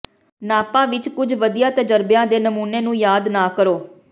ਨਾਪਾ ਵਿਚ ਕੁਝ ਵਧੀਆ ਤਜਰਬਿਆਂ ਦੇ ਨਮੂਨੇ ਨੂੰ ਯਾਦ ਨਾ ਕਰੋ